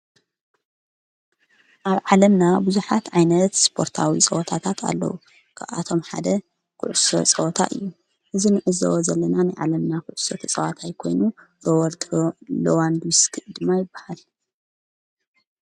ኣብ ዓለምና ብዙኃት ዓይነት ስጶርታዊ ጸወታታት ኣለዉ ብኣቶም ሓደ ዂዑሱ ጸወታ እዩ እዝ ንዑዘወ ዘለናን ዓለምና ዂዑሰተ ጸዋታ ኣይኮይኑ ሮወልድ ሎዋንድስኪ ድማ ይበሃል።